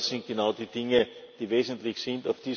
Das sind genau die Dinge, die wesentlich